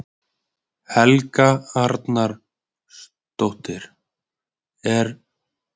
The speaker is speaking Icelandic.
Helga Arnardóttir: Er mikil keppni á milli skipa?